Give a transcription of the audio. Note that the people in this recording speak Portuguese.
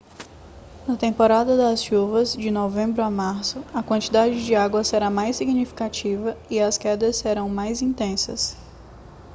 na temporada das chuvas de novembro a março a quantidade de água será mais significativa e as quedas serão mais intensas